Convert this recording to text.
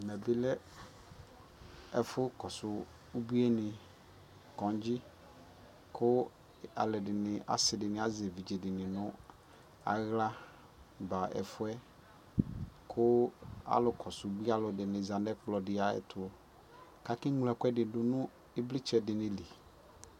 Ɛmɛ bι lɛ ɛfu kɔsu ubueni, kɔdzi kʋ alʋdini asidini azɛ evidzedi nʋ aɣla ba ɛfua kʋ alʋ kɔsu ubualʋdiniza nʋ ɛkplɔ di ayʋɛtʋkʋ akeŋlo ɛkuɛdi dʋ nʋ ivlitsɛ dι lι